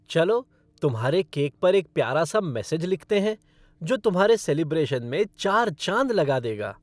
चलो तुम्हारे केक पर एक प्यारा सा मैसेज लिखते हैं, जो तुम्हारे सेलिब्रेशन में चार चांद लगा देगा।